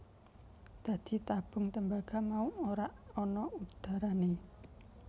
Dadi tabung tembaga mau ora ana udharane